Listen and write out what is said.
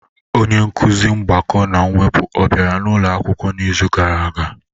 Onye nkuzi mgbakọ na mwepụ ọ bịara ụlọ akwụkwọ n'izu gara aga?